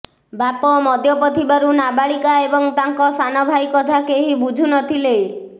ବାପ ମଦ୍ୟପ ଥିବାରୁ ନାବାଳିକା ଏବଂ ତାଙ୍କ ସାନ ଭାଇ କଥା କେହି ବୁଝୁନଥିଲେ